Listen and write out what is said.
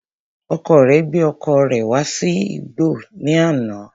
Ọkọ rẹ gbé ọkọ̀ rẹ̀ wá sí igbọ́ ní àná